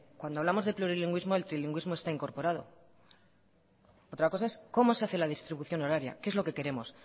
cuando hablamos de plurilingüísmo el trilingüismo está incorporado otra cosa es cómo se hace la distribución horaria qué es lo que queremos